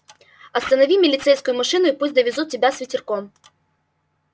останови милицейскую машину и пусть довезут тебя с ветерком